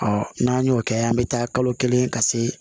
n'an y'o kɛ an bɛ taa kalo kelen ka se